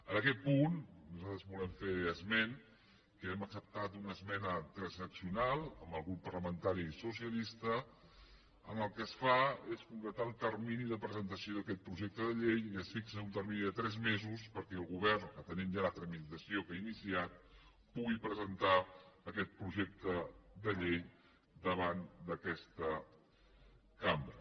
en aquest punt nosaltres volem fer esment que hem acceptat una esmena transaccional amb el grup parlamentari socialista en la qual el que es fa és concretar el termini de presentació d’aquest projecte de llei i es fixa un termini de tres mesos perquè el govern atenent ja la tramitació que ha iniciat pugui presentar aquest projecte de llei davant d’aquesta cambra